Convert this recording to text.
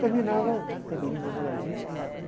Terminava, o cabelinho meio molhadinho, e chegava lá,